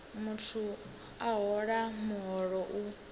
muthu a hola muholo u